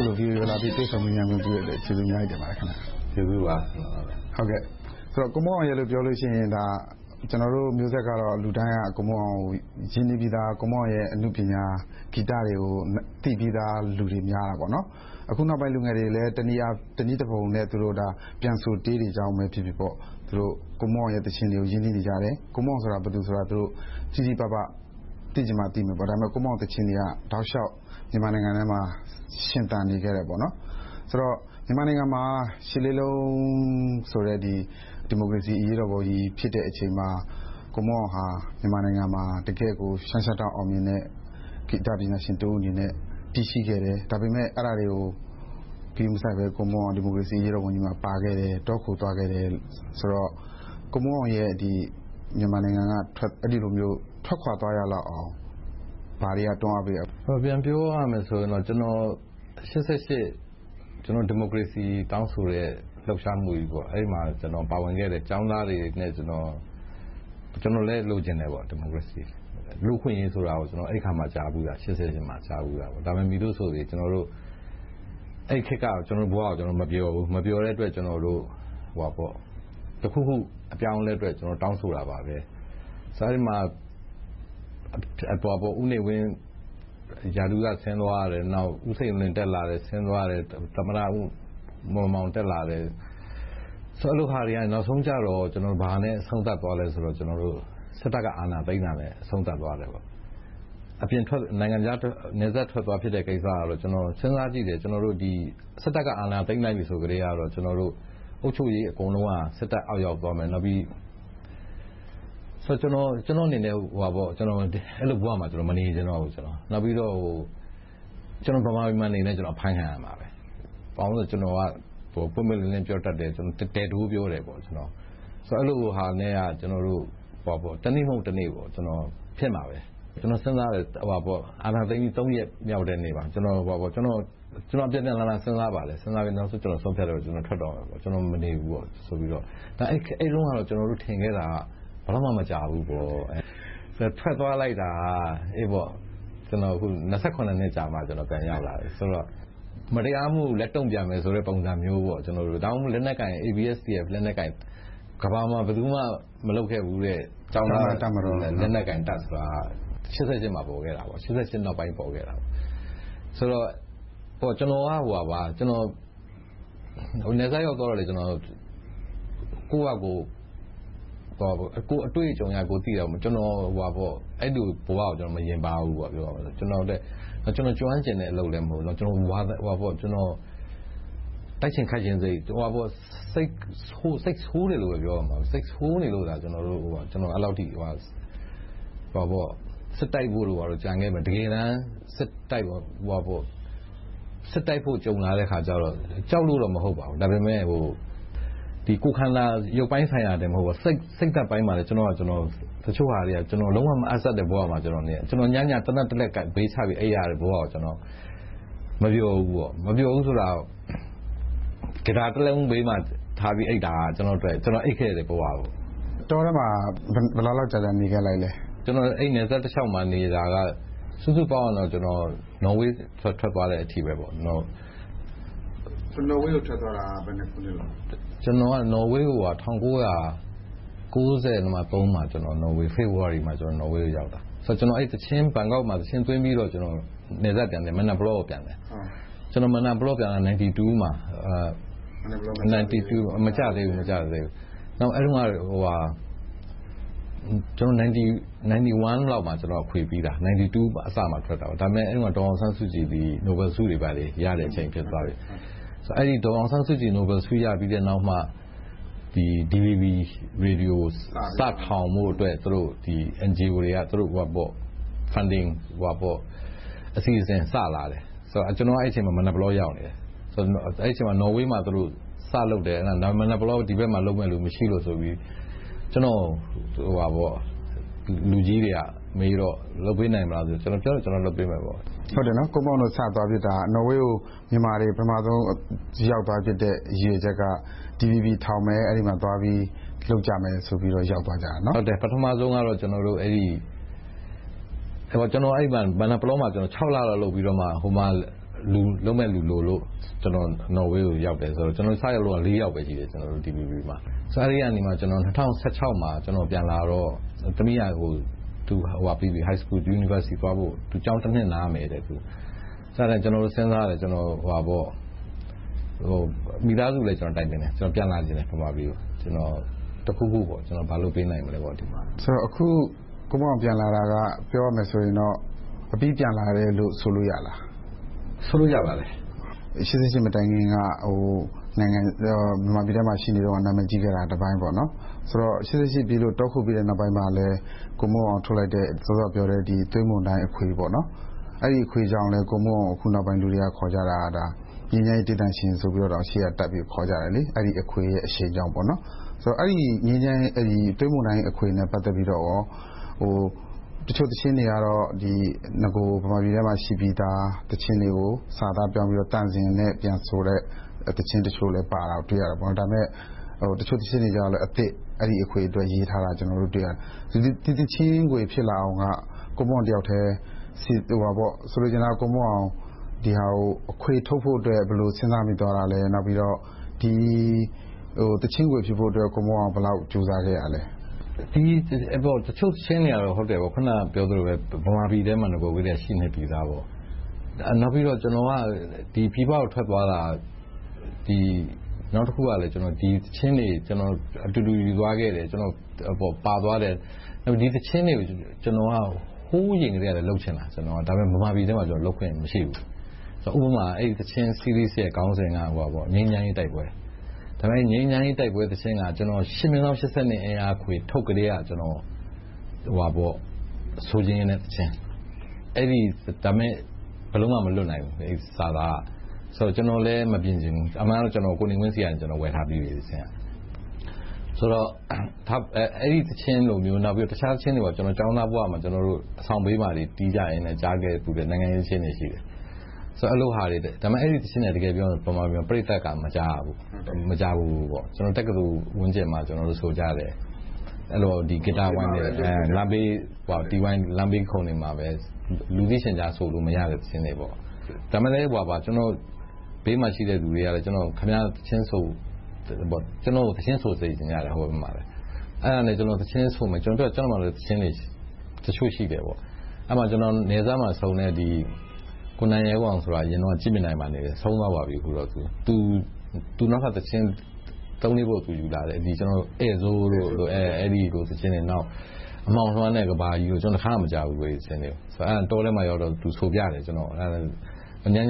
ုလို VOA ကိုလာပြီး တွေ့ဆုံမေးမြန်းခွင့်ပြုတဲ့အတွက် ကျေးဇူးအများကြီးတင်ပါတယ်။ ဟုတ်ကဲ့ ကျေးဇူးပါ။ ကိုမွန်းအောင်ရယ်လို့ ပြောလို့ရှိရင် ကျနော်တို့မျိုးဆက်ကတော့ လူတိုင်းက ကိုမွန်းအောင်ကို ရင်းနှီးပြီသား၊ ကိုမွန်းအောင်ရဲ့ အနုပညာ၊ ဂီတတွေကို သိပြီသား လူတွေများပါတယ်။ အခုနောက်ပိုင်း လူငယ်တွေလည်း တနည်းတဖုံနဲ့ ပြန်ဆိုတေးတွေကြောင့်ဖြစ်ဖြစ် ကိုမွန်းအောင်ရဲ့ သီချင်းတွေကို ရင်းနှီးနေကြတယ်။ ကိုမွန်းအောင်ဆိုတာ ဘယ်သူဆိုတာ တိတိပပ သိချင်မှသိမယ်။ ကိုမွန်းအောင်သီချင်းတွေက တောက်လျှောက်မြန်မာနိုင်ငံထဲမှာ ရှင်သန်နေခဲ့တယ်။ ဆိုတော့ ရှစ်လေးလုံးဆိုတဲ့ ဒီမိုကရေစီအရေးတော်ပုံကြီး ဖြစ်တဲ့အချိန်မှာ ကိုမွန်းအောင်ဟာ မြန်မာနိုင်ငံမှာ တကယ်ကို လျှမ်းလျှမ်းတောက် အောင်မြင်နေတဲ့ ဂီတပညာရှင်တဦးအနေနဲ့ တည်ရှိခဲ့တယ်။ ဒါပေမဲ့ အဲဒါတွေကို ဂရုမစိုက်ဘဲ ဒီမိုကရေစီ အရေးတော်ပုံကြီးမှာ ပါခဲ့တယ်။ တောခိုသွားခဲ့တယ်ဆိုတော့ ကိုမွန်းအောင်ရဲ့ မြန်မာနိုင်ငံက အဲဒီလိုမျိုး ထွက်ခွါသွားရအောင် ဘာတွေက တွန်းအားပေးခဲ့တာလဲ။ ပြန်ပြောရမယ်ဆိုရင်တော့ ကျနော် ရှစ်ဆယ့်ရှစ် ဒီမိုကရေစီ တောင်းဆိုတဲ့ လှုပ်ရှားမှုကြီးမှာ ကျောင်းသားတွေနဲ့ ကျနော် ပါဝင်ခဲ့တယ်။ ကျနော်လည်း ဒီမိုကရေစီကို လိုချင်တယ်။ လူ့အခွင့်အရေးဆိုတာကို အဲဒီအခါကြမှ ကြားဖူးတာ။ ဒါပေမဲ့ မည်သို့ဆိုစေ အဲဒီခေတ်က ကျနော်တို့ဘဝကို ကျနော်တို့ မပျော်ဘူး။ မပျော်တဲ့အတွက် ကျနော်တို့ တခုခု အပြောင်းအလဲအတွက် တောင်းဆိုတာပါ။ အဲဒီမှာ ဦးနေဝင်းက ရာထူးက ဆင်းသွားတယ်။ နောက် ဦးစိန်လွင် တက်လာတယ်၊ ဆင်းသွားတယ်။ သမ္မတမောင်မောင် တက်လာတယ်။ အဲဒီလိုဟာတွေကနေ နောက်ဆုံးကြတော့ ဘာနဲ့ အဆုံးသတ်သွားလဲဆိုတော့ စစ်တပ်က အာဏာသိမ်းတာနဲ့ အဆုံးသတ်သွားတယ်။ နယ်စပ်ထွက်သွားတဲ့ ကိစ္စကတော့ ကျနော် စဉ်းစားကြည့်တယ် စစ်တပ်က အာဏာသိမ်းလိုက်ပြီ ဆိုကတည်းက အုပ်ချုပ်ရေး အကုန်လုံးက စစ်တပ်အောက်ရောက်သွားပြီး ကျနော်အနေနဲ့ အဲဒီဘဝမှာ မနေလိုတော့ဘူး။ နောက်ပြီးတော့ ကျနော် ဗမာပြည်မှာနေလည်း အဖမ်းခံရမှာပဲ။ ဘာဖြစ်လို့လဲဆိုတော့ ကျနော်က ပွင့်ပွင့်လင်းလင်း ပြောတတ်တယ်။ ဒဲ့ဒိုးပြောတယ်။ အဲဒီလိုဟာနဲ့ တနေ့မဟုတ် တနေ့၊ ဖြစ်မှာပဲ။ ကျနော် စဉ်းစားတယ်။ အာဏာသိမ်းပြီး ရက်မြောက်နေ့မှာ ကျနော် အပြန်ပြန်အလှန်လှန် စဉ်းစားပါတယ်။ စဉ်းစားပြီး နောက်ဆုံး ဆုံးဖြတ်ပြီး ကျနော် မနေတော့ဘူးဆိုပြီး ထွက်သွားပါတယ်။ အဲဒီတုန်းက ကျနော်တို့ ထင်ခဲ့တာက ဘယ်လောက်မှ မကြာဘူးပေါ့။ ထွက်သွားလိုက်တာ နှစ်ကြာမှ ကျနော် ပြန်ရောက်လာတယ်။ ဆိုတော့ မတရားမှုကို တုံ့ပြန်မယ်ဆိုတဲ့ သဘောမျိုးပေါ့။ ဒါကြောင့်မို့ ABSDF လက်နက်ကိုင် ကမ္ဘာမှာ ဘယ်သူမှ မလုပ်ခဲ့ဘူးတဲ့ ကျောင်းသားတပ်မတော် လက်နက်ကိုင်တပ်ဆိုတာ ရှစ်ဆယ့်ရှစ်မှာ ပေါ်ခဲ့တာ။ ဆိုတော့ ကျနော် နယ်စပ်ရောက်သွားတော့လည်း ကိုယ့်အတွေ့အကြုံ သိရတာက အဲဒီလိုဘဝကို မယဉ်ပါးဘူး။ ကျနော် ကျွမ်းကျင်တဲ့အလုပ်လည်း မဟုတ်ဘူး။ တိုက်ချင်ခိုက်ချင်တဲ့စိတ်လည်း မရှိဘူး။ စိတ်ဆိုးတယ်လို့ပဲ ပြောရမယ်။ စိတ်ဆိုးနေလို့ အဲဒီလောက် စစ်တပ်ဖို့တို့ ဘာတို့ ဖြစ်ခဲ့တာ။ တကယ်တမ်း စစ်တိုက်ဖို့ ကြုံလာတော့ ကြောက်လို့တော့ မဟုတ်ဘူး။ ကိုယ်ခန္ဓာ ရုပ်ပိုင်းဆိုင်ရာ၊ စိတ်ဓါတ်ပိုင်းမှာ တချို့ဟာတွေက ကျနော်နဲ့ လုံးဝမဟပ်ဆက်တဲ့ ဘဝမှာ နေရတယ်။ ညဆိုရင် သေနတ်တလက် ဘေးချပြီး အိပ်ရတဲ့ဘဝကို မပျော်ဘူး။ မပျော်ဘူးဆိုတာ ဂစ်တာတလုံးဘေးမှာထားပြီး ကျနော် အိပ်ခဲ့တဲ့ဘဝ။ တောထဲမှာ ဘယ်လောက်ကြာကြာ နေခဲ့ပါလဲ။ ကျနော် နယ်စပ်တလျှောက်မှာနေတာ စုစုပေါင်းဆိုရင် နော်ဝေး ထွက်သွားချိန်အထိ… နော်ဝေးကို ထွက်သွားတာ ဘယ်ခုနှစ်လောက်လဲ။ ၁၉၉၃ ဖေဖေါ်ဝါရီမှာ နော်ဝေးကို ရောက်သွားခဲ့တယ်။ ဘန်ကောက်မှာ သီချင်းသွင်းပြီးတော့ နယ်စပ် မယ်နပလောကို ပြန်တယ်။ ၁၉၉၂ မှာ မယ်နပလော မကျသေးဘူး။ ၁၉၉၁ လောက်မှာ အခွေပြီတာ။ ၁၉၉၂ အစမှာထွက်တာ။ အဲဒီတုန်းက ဒေါ်အောင်ဆန်းစုကြည် နိုဘယ်ဆု ရတဲ့အချိန် ဖြစ်သွားပြီ။ ဒေါ်အောင်ဆန်းစုကြည် နိုဘယ်ဆု ရပြီးတဲ့နောက်မှ DVB ရေဒီယို စထောင်ဖို့အတွက် NGO တွေက Funding အစီအစဉ် စလာတယ်။ ကျနော်က အဲဒီအချိန်မှာ မယ်နပလော ရောက်နေတယ်။ အဲဒီအချိန်မှာ နော်ဝေးမှာ စလုပ်တယ်။ ဒီဘက် မယ်နပလောမှာ လုပ်မယ့်လူ မရှိလို့ဆိုပြီး ကျနော့်ကို လူကြီးတွေကမေးတော့ လုပ်ပေးနိုင်မလားဆိုတော့ လုပ်ပေးမယ်ပေါ့။ ကိုမွန်းအောင်တို့ နော်ဝေးကို သွားဖြစ်တာက နော်ဝေးကို ဗမာတွေ ပထမဦးဆုံး ရောက်သွားဖြစ်တဲ့ ရည်ရွယ်ချက်က အဲဒီမှာ DVB ထောင်မယ်။ အဲဒီမှာသွားပြီး လုပ်ကြမယ်ဆိုပြီး ရောက်သွားကြတာ။ ပထမဦးဆုံးတော မယ်နပလောမှာ ခြောက်လလောက် လုပ်ပြီးမှ ဟိုမှာ လုပ်မယ့်လူလိုလို့ ကျနော် နော်ဝေးကို ရောက်တယ်။ ကျနော်တို့ စရောက်တုန်းက လေးယောက်ပဲ ရှိတယ်။ အဲဒီကနေမှ ၂၀၁၆ မှာ ပြန်လာတော့ သမီးက High School ပြီးပြီ၊ University သွားဖို့ ကျောင်းတနှစ်နားမယ်။ အဲဒါနဲ့ ကျနော်တို့ စဉ်းစားတယ်။ မိသားစုလည်း ကျနော် တိုင်ပင်တယ်။ ကျနော် ဗမာပြည်ကို ပြန်လာချင်တယ်။ တခုခု ဘာလုပ်ပေးနိုင်မလဲပေါ့။ အခု ကိုမွန်းအောင် ပြန်လာတာက ပြောရမယ်ဆိုရင်တော့ အပြီပြန်လာတယ်လို့ ဆိုလို့ရလား။ ဆိုလို့ရပါတယ်။ ရှစ်ဆယ့်ရှစ် မတိုင်ခင်တုန်းက မြန်မာနိုင်ငံထဲမှာ ရှိနေတုန်းက နာမည်ကြီးခဲ့တာကတပိုင်း။ ရှစ်ဆယ့်ရှစ် ဖြစ်ပြီးနောက် တောခိုနောက်ပိုင်းမှာလည်း ကိုမွန်းအောင် ထုတ်လိုက်တဲ့ သွေးမုန်တိုင်းအခွေ - အဲဒီအခွေကြောင့်လည်း အခုနောက်ပိုင်းမှာ ကိုမွန်းအောင်ကို ခေါ်ကြတာ ငြိမ်းချမ်းရေးတေးသံရှင်လို့တောင် နာမည်ရှေ့ကတပ်ပြီး ခေါ်ကြတယ်။ အဲဒီအခွေရဲ့ အရှိန်ကြောင့်ပေါ့။ အဲဒီ သွေးမုန်တိုင်း အခွေနဲ့ ပတ်သက်ပြီးတော့ တချို့သီချင်းတွေက နဂို မြန်မာပြည်ထဲမှာ ရှိပြီသားသီချင်းတွေကို စာသားပြောင်းပြီးတော့ သံစဉ်နဲ့ဆိုတဲ့ သီချင်းတချို့လည်း ပါခဲ့တာကို တွေ့ရတယ်။ ဒါပေမဲ့ တချို့သီချင်းတွေကြတော့လည်း အသစ်။ အဲဒီအခွေအတွက် ရေးထားတာကို တွေ့ရတယ်။ ဒီသီချင်းခွေ ဖြစ်လာအောင်က ကိုမွန်းအောင်တယောက်ထဲ ဆိုလိုချင်တာက ဒီအခွေထုတ်ဖို့အတွက် ဘယ်လို စဉ်းစားမိသွားတာလဲ။ နောက်ပြီးတော့ ဒီသီချင်းခွေ ဖြစ်ဖို့အတွက် ကိုမွန်းအောင် ဘယ်လောက်ကြိုးစားခဲ့ရလဲ။ တချို့သီချင်းတွေကတော့ အခုနပြောသလိုပဲ ဗမာပြည်ထဲမှာ ရှိနေပြီသား။ နောက်ပြီးတော့ ကျနော်က ပြည်ပကို ထွက်သွားတာ နောက်တခုကလည်း ဒီသီချင်းတွေကို အတူတူ ယူသွားခဲ့တယ်။ ပါသွားခဲ့တယ်။ ဒီသီချင်းတွေကို ဟိုးအရင်ကတည်းကလည်း လုပ်ချင်တာ။ ဒါပေမဲ့ ဗမာပြည်ထဲမှာ လုပ်ခွင့်မရှိဘူး။ ဥပမာ အဲဒီအခွေရဲ့ ခေါင်းစဉ်က ငြိမ်းချမ်းရေးတိုက်ပွဲ။ ဒါပေမဲ့ အဲဒီ ငြိမ်းချမ်းရေးတိုက်ပွဲသီချင်းက ကျနော် ၈/၈၂ အင်းယားအခွေ ထုတ်ကတည်းက ဆိုချင်တဲ့သီချင်း။ ဒါပေမဲ့ ဘယ်လိုမှ မလွတ်နိုင်ဘူး။ အဲဒီစာသားက။ ကျနော်လည်း မပြင်ချင်ဘူး။ အမှန်က ကျနော် ကိုနေဝင်းဆီက ဝယ်ထားပြီးပြီ။ ဆိုတော့ အဲဒီသီချင်လိုမျိုး တခြားသီချင်းတွေ ကျောင်းသားဘဝမှာ အဆောင်ဘေးမှာ တီးကြရင်နဲ့ ကြားခဲ့ဖူးတဲ့ နိုင်ငံရေးသီချင်းတွေရှိတယ်။ တကယ်ပြောရင် အဲဒီသီချင်းတွေက ဗမာပြည်မှာ ပရိသတ်က မကြားရဘူး။ မကြာဖူးဘူး။ တက္ကသိုလ်ဝန်းကျင်မှာ ဆိုကြတယ်။ အပြင်မှာပဲ အလွတ်ဆိုကြတယ်။ လမ်းဘေးခုံတွေမှာ ဆိုကြတယ်။ လူသိရှင်ကြား ဆိုလို့မရတဲ့ သီချင်းတွေပေါ့။ ဒါပေမဲ့ ကျနော့်ဘေးမှာရှိတဲ့ လူတွေက ကျနော်ကို သီချင်းဆိုစေချင်ကြတယ်။ အဲဒါနဲ့ ကျနော် သီချင်းဆိုမယ်။ သီချင်းတွေ တချို့ရှိတယ်ပေါ့။ အဲဒီမှာ နယ်စပ်မှာဆုံတဲ့ ကိုနိုင်ရဲမောင်ဆိုတာ အရင်တုန်းက ကြည့်မြင်တိုင်မှာနေတယ်။ အခုတော့ ဆုံးသွားပါပြီ။ သူ သီချင်း သုံးလေးပုဒ် ယူလာတယ်။ ဧည့်ဆိုးတို့ အဲဒီလိုသီချင်းတွေ။ အမှောင်လွှမ်းတဲ့ ကမ္ဘာကြီးတို့။ ကျနော် အဲဒီသီချင်းတွေကို တခါမှ မကြားဖူးဘူး။ တောထဲမှာ သူဆိုပြတယ်။ ည